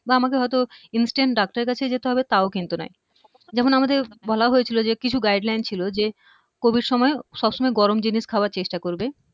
বা আমাদের হয়ত instant doctor এর কাছে যেতে হবে তাও কিন্তু নয় যেমন আমাদের বলা হয়েছিল যে কিছু guideline ছিল যে covid সময়ে সবসময় গরম জিনিস খাওয়ার চেষ্টা করবে